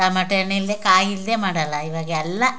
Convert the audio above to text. tomato ಹಣ್ಣು ಇಲ್ದೆ ಕಾಯಿ ಇಲ್ದೆ ಮಾಡಲ್ಲ ಇವಾಗೆಲ್ಲ --